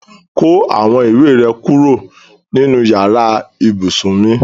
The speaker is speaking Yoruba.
Ko awon iwe re kuro ninu iyare ibusun mi